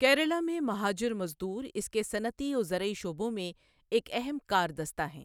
کیرالہ میں مہاجر مزدور اس کے صنعتی و زرعی شعبوں میں ایک اہم کار دستہ ہیں۔